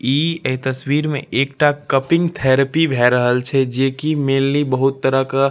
ई एक तस्वीर में एकटा कपिंग थेरेपी भै रहल छे जेकी मेंनली बहूत तरह का --